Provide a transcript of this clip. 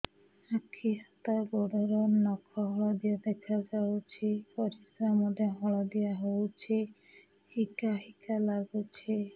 ଆଖି ହାତ ଗୋଡ଼ର ନଖ ହଳଦିଆ ଦେଖା ଯାଉଛି ପରିସ୍ରା ମଧ୍ୟ ହଳଦିଆ ହଉଛି ହିକା ହିକା ଲାଗୁଛି